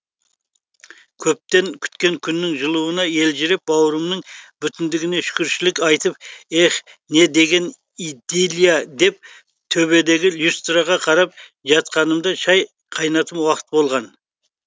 көптен күткен күннің жылуына елжіреп бауырымның бүтіндігіне шүкіршілік айтып эхх не деген идиллия деп төбедегі люстраға қарап жатқанымда шай қайнатым уақыт болған